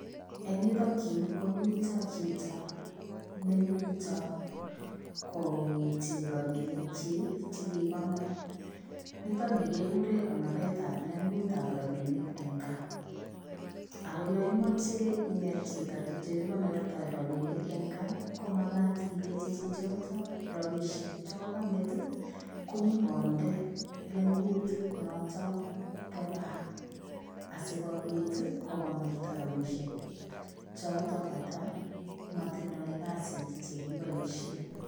Eng yutoon Yuu komiteen chitoo nemitaa koitii rapinik kyiik chekikonor nitoon ni kegureen konoret ab lenguut ab rapinik en gaah ako yaan imache ineet chitoo ole kikonortoi rapinik en gaah ko magaat ilenjii chichitoon rapisheek che kokangeet ko nyogindei lenguut notoon bo gaah asikobiit ii kokonortaa rapinik chotoon kata matindoi kazit chekibaisheen.